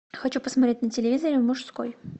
хочу посмотреть на телевизоре мужской